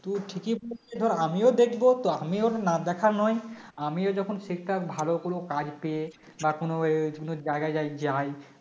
তোর ঠিকই বলেছিস ধর আমিও দেখব তো আমিও না দেখার নয় আমি যখন Sector ভালো কোন কাজ পেয়ে বা কোন আহ কোন জায়গায় যাই